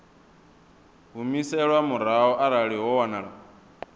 humiselwa murahu arali ho wanala